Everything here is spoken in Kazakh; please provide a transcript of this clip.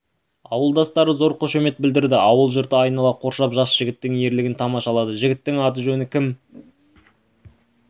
ауылдастары зор қошемет білдірді ауыл жұрты айнала қоршап жас жігіттің ерлігін тамашалады жігіттің аты-жөні кім